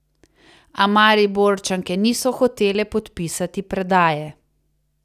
A Mariborčanke niso hotele podpisati predaje.